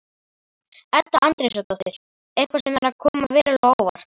Edda Andrésdóttir: Eitthvað sem er að koma verulega á óvart?